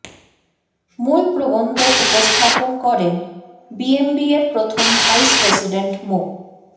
মূল প্রবন্ধ উপস্থাপন করেন বিএমবিএর প্রথম ভাইস প্রেসিডেন্ট মো